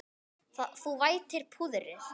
Þú vætir púðrið.